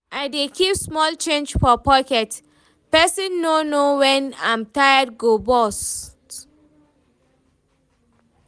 I dey keep small change for pocket, pesin no know wen im tire go burst.